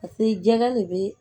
Paseke jɛya de be